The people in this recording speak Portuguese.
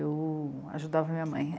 Eu ajudava minha mãe.